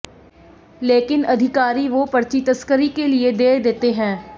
लेकिन अधिकारी वो पर्ची तस्करी के लिये दे देते हैं